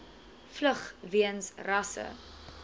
vlug weens rasse